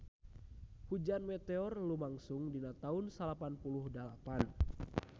Hujan meteor lumangsung dina taun salapan puluh dalapan